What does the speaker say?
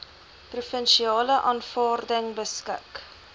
provinsiale afvaarding beskik